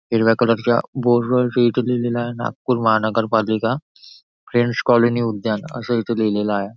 हिरव्या कलर च्या बोर्ड वरती इथं लिहिलेला आहे नागपूर महानगर पालिका फ्रेंड्स कॉलनी उद्यान असं इथं लिहिलेला आहे.